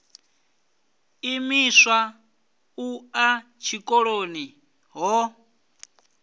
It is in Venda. imiswa u ḓa tshikoloni ho